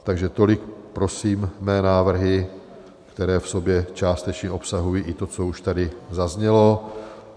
Takže tolik prosím mé návrhy, které v sobě částečně obsahují i to, co už tady zaznělo.